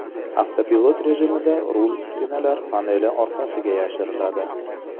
Avtopilot rejimida rul uskunalar paneli orqasiga yashirinadi.